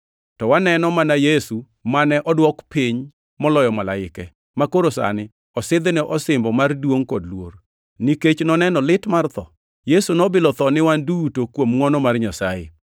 To waneno mana Yesu mane odwok piny moloyo malaike, makoro sani osidhne osimbo mar duongʼ kod luor, nikech noneno lit mar tho. Yesu nobilo tho ni wan duto kuom ngʼwono mar Nyasaye.